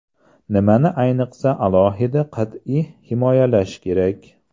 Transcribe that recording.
Nimani ayniqsa alohida qat’iy himoyalash kerak?